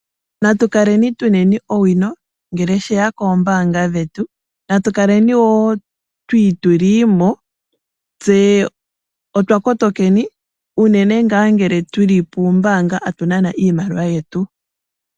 Natukaleni tuneni owino ngele sheya koombaanga dhetu. Natu kaleni wo twiituliimo tse otwa kotokeni, unene ngaa ngele tuli puumbaanga tatu nana iimaliwa yetu.